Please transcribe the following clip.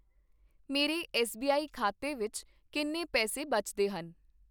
ਮੇਰੇ ਐੱਸਬੀਆਈ ਖਾਤੇ ਵਿੱਚ ਕਿੰਨੇ ਪੈਸੇ ਬਚਦੇ ਹਨ?